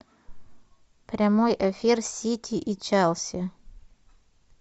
прямой эфир сити и челси